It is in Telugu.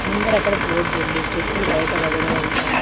ముందరక్కడ బోర్డుంది చెప్పులు బయట వదిలేయమని--